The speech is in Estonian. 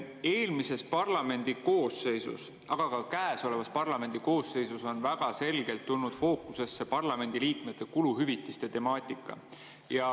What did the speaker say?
Eelmises parlamendikoosseisus, aga ka käesolevas parlamendikoosseisus on väga selgelt tulnud fookusesse parlamendiliikmete kuluhüvitiste temaatika.